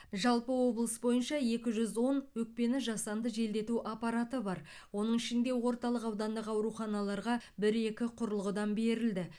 жалпы облыс бойынша екі жүз он өкпені жасанды желдету аппараты бар оның ішінде орталық аудандық ауруханаларға бір екі құрылғыдан берілді